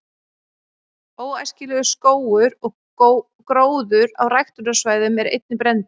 „óæskilegur“ skógur og gróður á ræktunarsvæðum er einnig brenndur